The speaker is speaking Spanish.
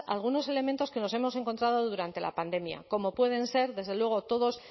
a algunos elementos que nos hemos encontrado durante la pandemia como pueden ser desde luego